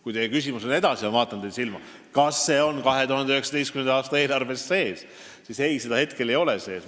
Kui teie küsimus edasi on – ma vaatan teile silma –, kas see on 2019. aasta eelarves sees, siis vastan ei, seda hetkel ei ole seal sees.